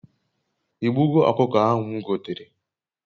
I gbugo okuko ahu m gotere?